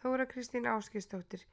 Þóra Kristín Ásgeirsdóttir: